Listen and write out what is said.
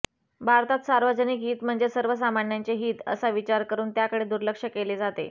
भारतात सार्वजनिक हित म्हणजे सर्वसामान्यांचे हित असा विचार करून त्याकडे दुर्लक्ष केले जाते